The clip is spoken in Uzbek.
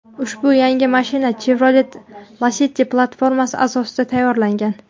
Ushbu yangi mashina Chevrolet Lacetti platformasi asosida tayyorlangan.